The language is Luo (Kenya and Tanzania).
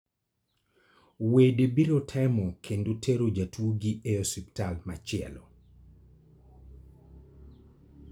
Wede biro temo kendo tero jatuogi e osiptal machielo.